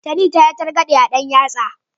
Tani ta yi targaɗe a ɗan yatsa.